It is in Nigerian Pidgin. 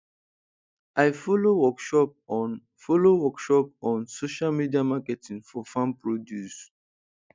i follow workshop on follow workshop on social media marketing for farm produce